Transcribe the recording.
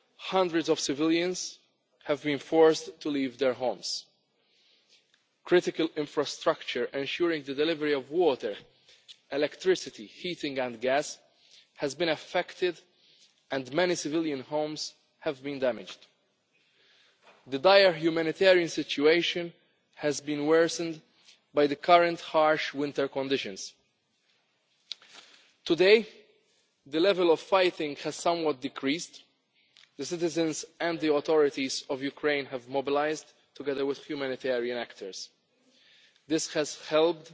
Hundreds of civilians have been forced to leave their homes. Critical infrastructure ensuring the delivery of water, electricity, heating and gas has been affected and many civilian homes have been damaged. The dire humanitarian situation has been worsened by the current harsh winter conditions. Today, the level of fighting has decreased somewhat. The citizens and the authorities of Ukraine have mobilised, together with humanitarian actors. This has